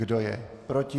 Kdo je proti?